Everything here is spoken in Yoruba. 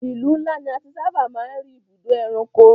Ìlú ńlá ní a ti sábà máa ń rí ibùdó ẹranko.